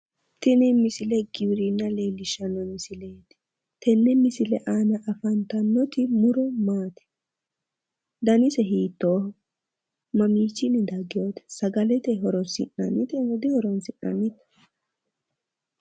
Tini misile giwirinna leellishanno misileeti tenne misile aana afantannoti muro maati danise hiittooho mamiichinni daggewote sagalete horoonsi'nannnitenso dihoroinsi'nannite